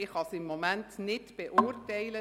Ich kann es im Moment nicht beurteilen.